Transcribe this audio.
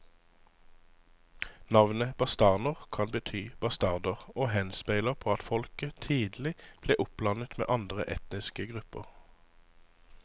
Navnet bastarner kan bety bastarder og henspeiler på at folket tidlig ble oppblandet med andre etniske grupper.